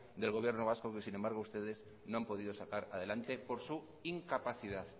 del gobierno vasco que sin embargo ustedes no han podido sacar adelante por su incapacidad